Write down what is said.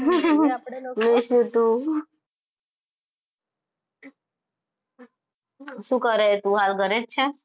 શું કરે તું હાલ ઘરે જ છે?